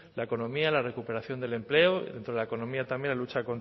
la economía la recuperación del empleo dentro de la economía también la lucha